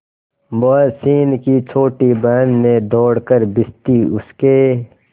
मोहसिन की छोटी बहन ने दौड़कर भिश्ती उसके